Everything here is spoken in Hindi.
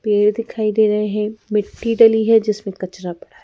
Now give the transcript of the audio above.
पेड़ दिखाई दे रहे हैं मिट्टी डली है जिसमें कचरा ।